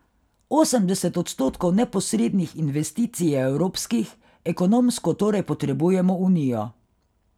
Osemdeset odstotkov neposrednih investicij je evropskih, ekonomsko torej potrebujemo Unijo.